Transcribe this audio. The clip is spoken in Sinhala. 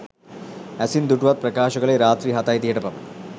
ඇසින් දුටුවන් ප්‍රකාශ කළේ රාත්‍රී හතයි තිහට පමණ